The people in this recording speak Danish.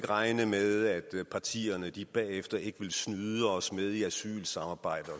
regne med at partierne bagefter ikke vil snyde os med i asylsamarbejdet